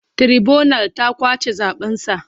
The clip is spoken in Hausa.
Tiraibunal ta ƙwace zaɓensa.